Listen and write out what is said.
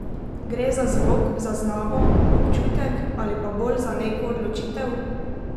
Gre za zvok, zaznavo, občutek ali pa bolj za neko odločitev?